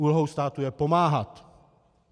Úlohou státu je pomáhat.